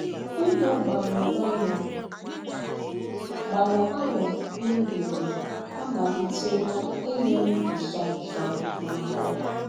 Ndụ̀ gbàlụ̀ gbàlụ̀ gbàlụ̀ gbàlụ̀ m̀ bìrì ámàlìtèlà ínyè m̀ ńsọ̀nsọ̀ n’áhụ̀. ”